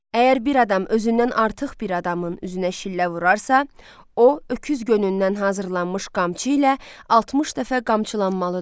Əgər bir adam özündən artıq bir adamın üzünə şillə vurarsa, o öküz gönündən hazırlanmış qamçı ilə 60 dəfə qamçılanmalıdır.